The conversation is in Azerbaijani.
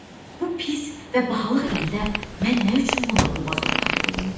Bu pis və bahalıq ildə mən nə üçün buna boğaz ortağı olum?